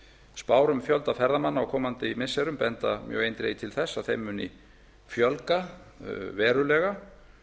spár um fjölda ferðamanna á komandi missirum benda mjög eindregið til þess að þeim muni fjölga verulega